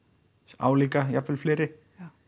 álíka jafnvel fleiri